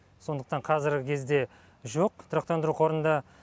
сондықтан қазіргі кезде жоқ тұрақтандыру қорында